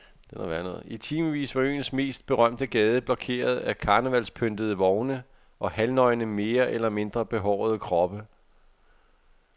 I timevis var øens mest berømte gade blokeret af karnevalspyntede vogne og halvnøgne mere eller mindre behårede kroppe.